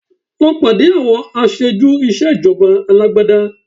Lọ pàdé àwọn aṣojú ìṣèjọba alágbádá